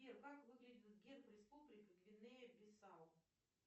сбер как выглядит герб республики гвинея бисау